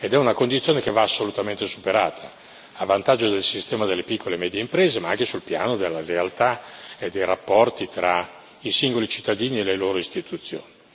È una condizione che va assolutamente superata a vantaggio del sistema delle piccole e medie imprese, ma anche sul piano della lealtà e dei rapporti tra i singoli cittadini e le loro istituzioni.